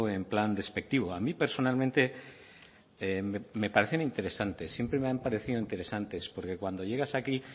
en plan despectivo a mí personalmente me parecen interesantes siempre me han parecido interesantes porque cuando llegas aquí